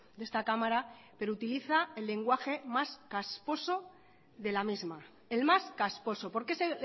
de esta cámara pero utiliza el lenguaje más casposo de la misma el más casposo porque ese